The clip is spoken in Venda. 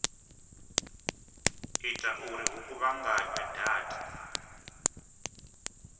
ita uri hu kuvhunganywe data